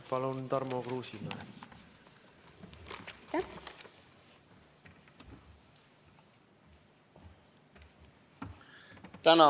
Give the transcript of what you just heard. Palun, Tarmo Kruusimäe!